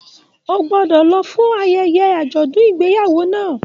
O gbọdọ lọ fún ayẹyẹ ajọdun ìgbéyàwó náà!